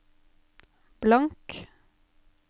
blank